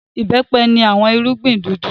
Ìbẹ́pẹ ni awọn irugbin dudu